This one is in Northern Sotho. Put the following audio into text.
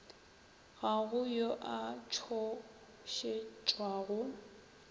ga go yo a tšhošetšwago